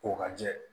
Ko ka jɛ